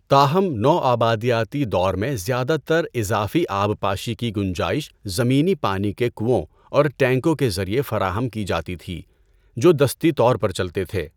تاہم، نوآبادیاتی دور میں زیادہ تر اضافی آبپاشی کی گنجائش زمینی پانی کے کنوؤں اور ٹینکوں کے ذریعے فراہم کی جاتی تھی، جو دستی طور پر چلتے تھے۔